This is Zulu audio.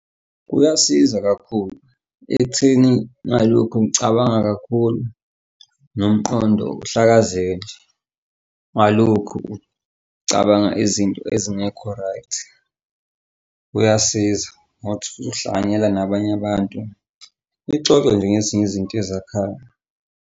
Kuyasiza kakhulu ekutheni ngalokhu ngicabanga kakhulu nomqondo uhlakazeke ngalokhu ngcabanga izinto ezingekho right. Uyasiza ngokuthi uhlanganyela nabanye abantu, nixoxe nje ngezinye izinto ezakhayo.